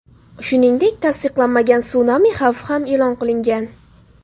Shuningdek, tasdiqlanmagan sunami xavfi ham e’lon qilingan.